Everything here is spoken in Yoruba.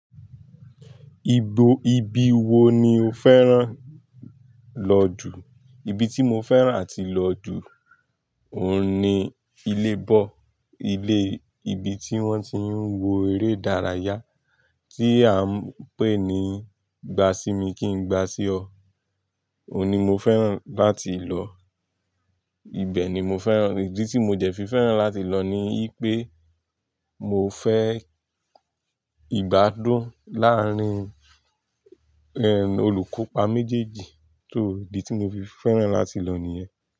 Ibo, ibi wo ni o fẹ́ràn lọ jù? Ibi tí mo fẹ́ràn àti lọ jù, òun ni ilé ball, ilé, ibi tí wọ́n ti ń wo eré ìdárayá tí à ń pè ní "Gba sí mi kí n gba sí ọ", òun ni mo fẹ́ràn láti lọ. Ibẹ̀ ni mo fẹ́ràn, ìdí tí mo jẹ fi fẹ́ràn láti lọ ni wípé mo fẹ́ ìgbádùn láàárín, olùkópa méjèèjì só ìdí tí mo fi fẹ́ràn láti lọ ní ẹ.